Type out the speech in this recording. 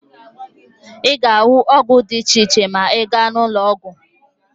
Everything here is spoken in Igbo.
Ị ga-ahụ ọgwụ dị iche iche ma ị gaa n'ụlọọgwụ